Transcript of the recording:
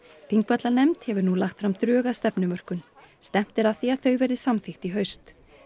Þingvallanefnd hefur nú lagt fram drög að stefnumörkun stefnt er að því að þau verði samþykkt í haust